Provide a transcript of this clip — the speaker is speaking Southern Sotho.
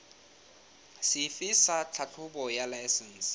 sefe sa tlhahlobo ya laesense